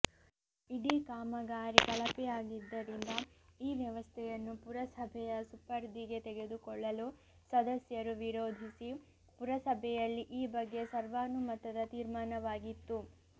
ಇಡೀ ಕಾಮಗಾರಿ ಕಳಪೆಯಾಗಿದ್ದರಿಂದ ಈ ವ್ಯವಸ್ಥೆಯನ್ನು ಪುರಸಭೆಯ ಸುಪರ್ದಿಗೆ ತೆಗೆದುಕೊಳ್ಳಲು ಸದಸ್ಯರು ವಿರೋಧಿಸಿ ಪುರಸಭೆಯಲ್ಲಿ ಈ ಬಗ್ಗೆ ಸರ್ವಾನುಮತದ ತೀರ್ಮಾನವಾಗಿತ್ತು